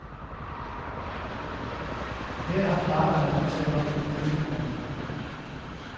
Her har parterne en aftale om at mødes i morgen.